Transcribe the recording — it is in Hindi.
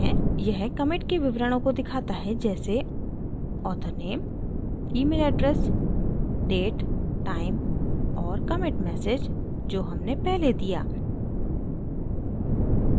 यह commit के विवरणों को दिखाता है जैसे author name email address date time और commit message जो हमने पहले दिया